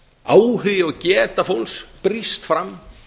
áhugi og geta fólks brýst fram